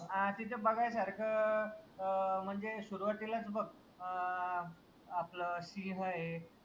अं तिथ बघायसारखं अं म्हनजे सुरवातीलाच बघ अं आपलं सिंह आये